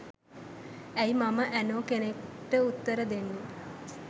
ඇයි මම ඇනෝ කෙනෙක්ට උත්තර දෙන්නේ